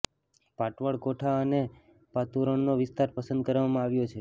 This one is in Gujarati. પાટવડ કોઠા અને પાતુરણનો વિસ્તાર પસંદ કરવામાં આવ્યો છે